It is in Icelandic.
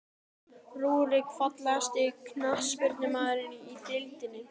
Rúrik Fallegasti knattspyrnumaðurinn í deildinni?